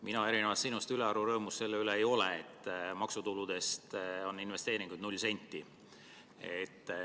Mina erinevalt sinust ülearu rõõmus selle üle ei ole, et maksutuludest on kavas investeerida null senti.